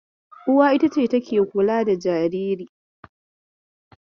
Uwa ita take kula da jariri.